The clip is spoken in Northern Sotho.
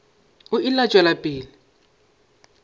o ile a tšwela pele